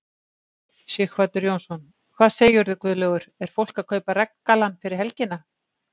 Sighvatur Jónsson: Hvað segirðu Guðlaugur er fólk að kaupa regngallann fyrir helgina?